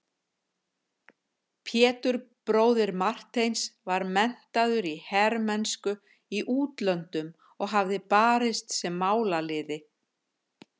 Pétur bróðir Marteins var menntaður í hermennsku í útlöndum og hafði barist sem málaliði.